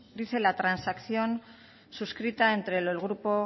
dice la transacción suscrita entre el grupo